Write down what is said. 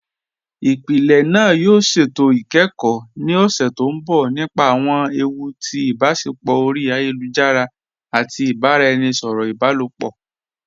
Ìpílẹ̀ náà yóò ṣétò ikẹ́kọ ni ọṣẹ̀ tó nbọ̀ nípa awọn èwù tì ibáṣẹpọ̀ ori ayélujara àti ibaràẹnisọ̀rọ ibàlọpọ.